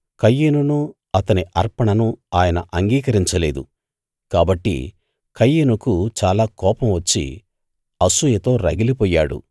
కయీనును అతని అర్పణను ఆయన అంగీకరించ లేదు కాబట్టి కయీనుకు చాలా కోపం వచ్చి అసూయతో రగిలిపోయాడు